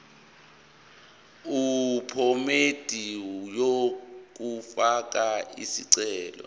yephomedi yokufaka isicelo